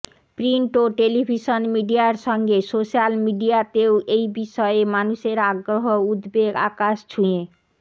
print ও television মিডিয়ার সঙ্গে সোশ্যাল মিডিয়াতেও এই বিষয়ে মানুষের আগ্রহ ও উদ্বেগ আকাশ ছুঁ